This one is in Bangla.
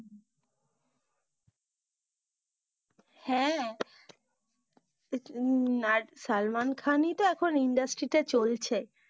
হ্যাঁ হম সালমান খান ই তো এখন industry তে চলছে।